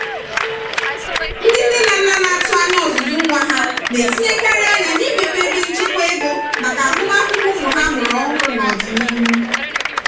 ndị nne na nna na-atụ anya ọzụzụ nwa ha na-etinyekarịrị anya n'imepe ebe nchekwa ego maka agụmakwụkwọ ụmụ ha amụrụ ọhụrụ n'ọdịnihu.